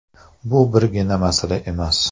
Bu birgina masala emas.